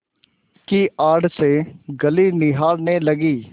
की आड़ से गली निहारने लगी